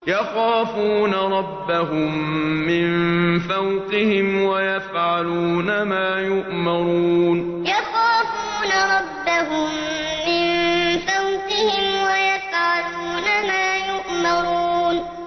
يَخَافُونَ رَبَّهُم مِّن فَوْقِهِمْ وَيَفْعَلُونَ مَا يُؤْمَرُونَ ۩ يَخَافُونَ رَبَّهُم مِّن فَوْقِهِمْ وَيَفْعَلُونَ مَا يُؤْمَرُونَ ۩